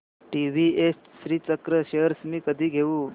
TVS Srichakra shares मी कधी घेऊ